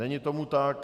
Není tomu tak.